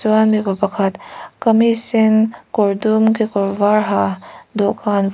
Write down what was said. vai mipa pakhat kamis sen kawr dum kekawr var ha dawhkan vua--